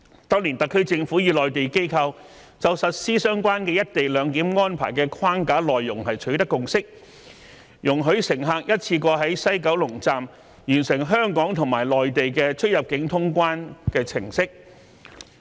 當年特區政府與內地機構就實施相關"一地兩檢"安排的框架內容取得共識，容許乘客一次過在西九龍站完成香港和內地的出入境通關程式。